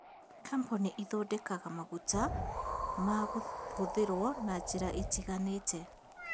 Kambuni ithondekaga maguta ma kũhũthĩrwo na njĩra itiganĩte